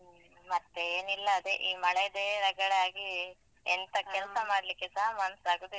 ಮತ್ತೇನಿಲ್ಲ ಅದೇ ಈ ಮಳೆದೇ ರಗಳೆ ಆಗಿ. ಎಂತ ಕೆಲಸ ಮಾಡ್ಲಿಕೆಸ ಮನ್ಸಾಗುದಿಲ್ಲ.